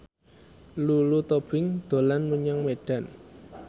Lulu Tobing dolan menyang Medan